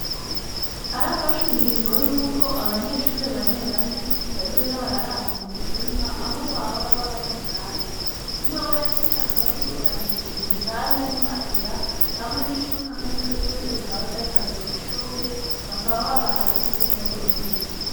Harafashwe ingingo, yuko abanyeshure bane bane bazoza bararana mu cumba, aho bahora baba ari munani, umwe wese akaba yisangije igitanda n'imatera, hamwe n'ishuka, kandi ivyo vyose vyatanzwe n'ishure, bakaba babahaye imeza n'intebe.